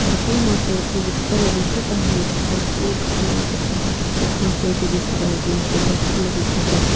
भरपूर मासे आहेत ते विकताना दिसत आहेत भरपूर घाण वाटत आहे खूप माणसे इथ दिसत आहेत मासे भरपूर लोक खातात.